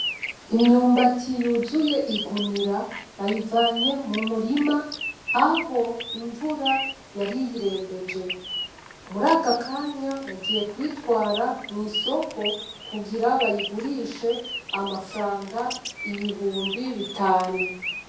Imyumbati yuzuye igunira bavanye mu murima aho imvura yari iyirembeje muri aka kanya bagiye kuyitwara mu isoko kugira bayigurishe amafaranga ibihumbi bitanu.